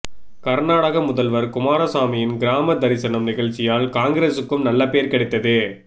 கர்நாடக முதல்வர் குமாரசாமியின் கிராம தரிசனம் நிகழ்ச்சியால் காங்கிரஸுக்கும் நல்ல பெயர் கிடைத்து